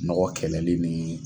Nɔgɔn kɛlɛli nii.